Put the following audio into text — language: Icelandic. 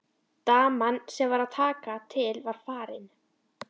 Daman sem var að taka til var farin.